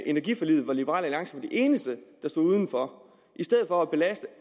energiforliget hvor liberal alliance var de eneste der stod uden for i stedet for at belaste